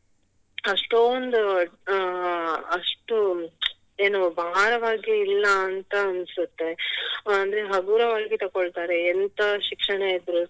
ಅಷ್ಟೊಂದು ಅಹ್ ಅಷ್ಟು ಏನು ಭಾರವಾಗಿ ಇಲ್ಲ ಅಂತ ಅನ್ಸತ್ತೆ ಅಂದ್ರೆ ಹಗುರವಾಗಿ ತೊಕೊಳ್ತಾರೆ ಎಂತ ಶಿಕ್ಷಣ ಇದ್ರೂ